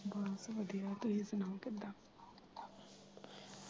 ਬਸ ਵਧੀਆ ਤੁਹੀਂ ਸੁਣਾਉ ਕਿਦਾ?